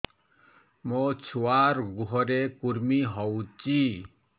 ମୋ ଛୁଆର୍ ଗୁହରେ କୁର୍ମି ହଉଚି